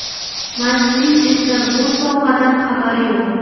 Maskning esa bu sovg‘adan xabari yo‘q.